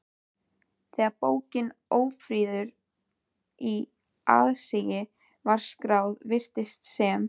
Þegar bókin Ófriður í aðsigi var skráð, virtist sem